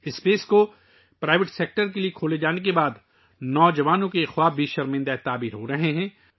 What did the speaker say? نجی شعبے کے لئے مواقع کھولنے کے بعد نوجوانوں کے یہ خواب بھی پورے ہونے لگے ہیں